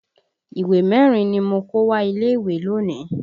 Ìwé mẹ́rin ni mo kó wá ilé ìwé lónìí